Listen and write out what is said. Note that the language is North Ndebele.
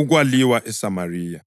Ukwaliwa ESamariya